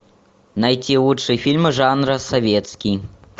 найти лучшие фильмы жанра советский